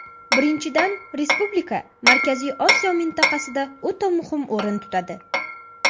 Birinchidan, respublika Markaziy Osiyo mintaqasida o‘ta muhim o‘rin tutadi.